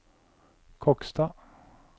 Kokstad